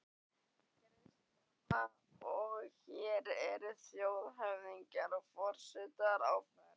Kristjana: Og hér eru þjóðhöfðingjar og forsetar á ferð?